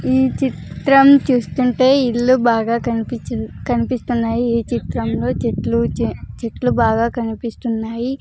ఈ చిత్రం చూస్తుంటే ఇల్లు బాగా కనిపించి-- కనిపిస్తున్నాయి ఈ చిత్రంలో చెట్లు చే-- చెట్లు బాగా కనిపిస్తున్నాయి.